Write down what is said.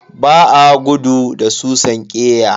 Ba a gudu da susan ƙeya.